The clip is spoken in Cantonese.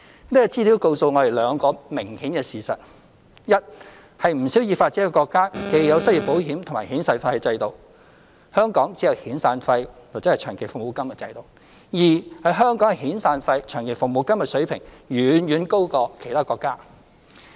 這資料告訴我們兩個明顯的事實：一是不少已發展國家既有失業保險亦有遣散費的制度，香港只有遣散費/長期服務金的制度；二是香港遣散費/長期服務金的水平遠遠高過其他國家。